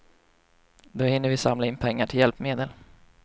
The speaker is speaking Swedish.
Då hinner vi samla in pengar till hjälpmedel.